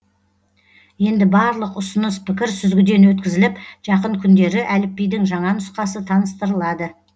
енді барлық ұсыныс пікір сүзгіден өткізіліп жақын күндері әліпбидің жаңа нұсқасы таныстырылады